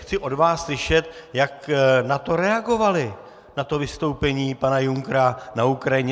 Chci od vás slyšet, jak na to reagovali, na to vystoupení pana Junckera, na Ukrajině.